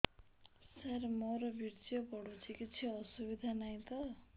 ସାର ମୋର ବୀର୍ଯ୍ୟ ପଡୁଛି କିଛି ଅସୁବିଧା ନାହିଁ ତ